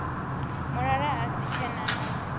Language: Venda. mulala a si tshe na